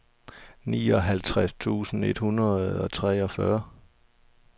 nioghalvtreds tusind et hundrede og treogfyrre